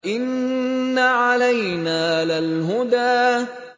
إِنَّ عَلَيْنَا لَلْهُدَىٰ